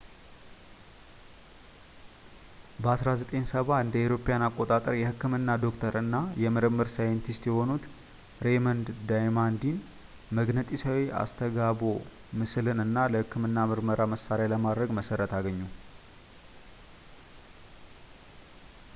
በ 1970 እ.ኤ.አ. የህክምና ዶክተር እና የምርምር ሳይንቲስት የሆኑት ሬይመንድ ዳማዲያን መግነጢሳዊ አስተጋብኦ ምስልን እንደ ለህክምና ምርመራ መሣሪያ ለማድረግ መሠረቱን አገኙ